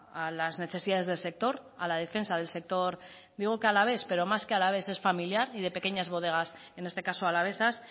a las necesidades del sector a la defensa del sector digo que alavés pero más que alavés es familiar y de pequeñas bodegas en este caso alavesas